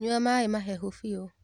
Nyua maĩmahehu biũ.